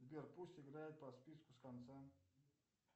сбер пусть играет по списку с конца